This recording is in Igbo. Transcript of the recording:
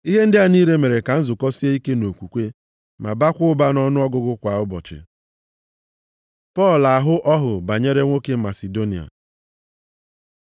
Ihe ndị a niile mere ka nzukọ sie ike nʼokwukwe ma baakwa ụba nʼọnụọgụgụ kwa ụbọchị. Pọl ahụ ọhụ banyere nwoke Masidonia